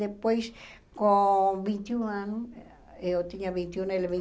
Depois, com vinte e um anos, eu tinha vinte um , ele